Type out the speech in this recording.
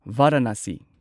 Varanasi